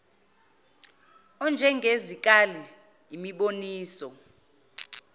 ezinjenge zikali imiboniso